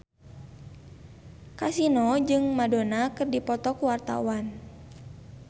Kasino jeung Madonna keur dipoto ku wartawan